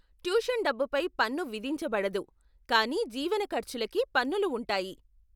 Tuition డబ్బుపై పన్ను విధించబడదు, కానీ జీవన ఖర్చులకి పన్నులు ఉంటాయి.